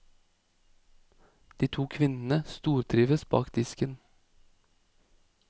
De to kvinnene stortrives bak disken.